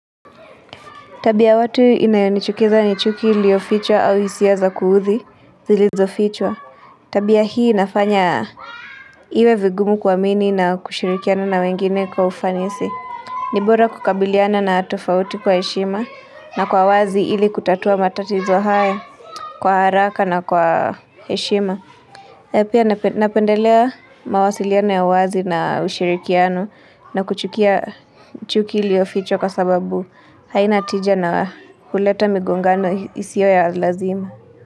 Tabia ya watu inayonichukiza ni chuki iliofichwa au hisia za kuudhi zilizofichwa. Tabia hii inafanya iwe vigumu kuamini na kushirikiana na wengine kwa ufanisi. Ni bora kukabiliana na tofauti kwa heshima na kwa wazi ili kutatua matatizo haya kwa haraka na kwa heshima. Na pia napendelea mawasiliano ya wazi na ushirikiano na kuchukia chuki iliyofichwa kwa sababu haina tija na huleta migongano isiyo ya lazima.